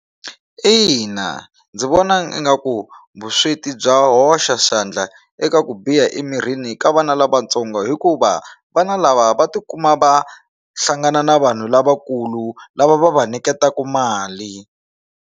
Ina, ndzi vona ingaku vusweti bya hoxa xandla eka ku biha emirini ka vana lavatsongo hikuva vana lava va tikuma va hlangana na vanhu lavakulu lava va va niketaku mali.